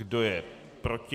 Kdo je proti?